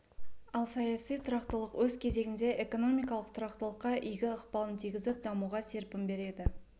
ал саяси тұрақтылық өз кезегінде экономикалық тұрақтылыққа игі ықпалын тигізіп дамуға серпім береді